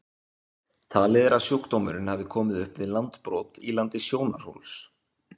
Talið er að sjúkdómurinn hafi komið upp við landbrot í landi Sjónarhóls.